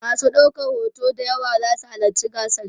masu ɗaukan hoto d yawa zasu halatci gasar